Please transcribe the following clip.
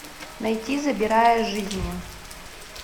найти забирая жизни